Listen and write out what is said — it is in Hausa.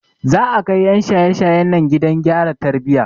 Za a kai 'yan shaye shayen nan gidan gyara tarbiyya.